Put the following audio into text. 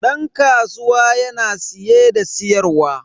Dan kasuwa yana siye da siyarwa.